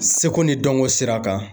Seko ni dɔnko sira kan